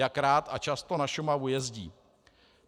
Jak rád a často na Šumavu jezdí.